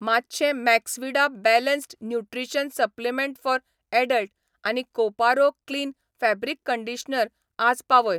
मातशें Maxvida balanced nutrition supplement for adult आनी Koparo clean fabric conditioner आज पावय